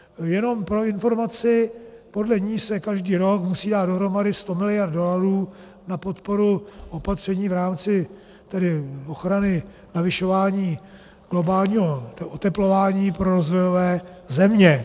Jenom pro informaci, podle ní se každý rok musí dát dohromady 100 mld. dolarů na podporu opatření v rámci ochrany navyšování globálního oteplování pro rozvojové země.